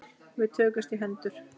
Við tökumst í hendur.